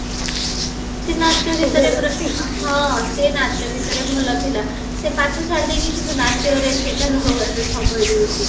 ସିଏ ନାଚ ଗୀତାରେ ପୁରା ହଁ ସିଏ ନାଚ ଗୀତରେ ଭଲ ଥିଲା ସିଏ ପାଠ ଛାଡିଦେଇକି କିନ୍ତୁ ନାଚବାରେ ସେ ଏବେ ସମୟ ଦଉଚି